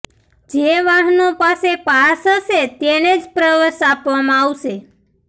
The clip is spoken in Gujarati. જે વાહનો પાસે પાસ હશે તેને જ પ્રવેશ આપવામાં આવશે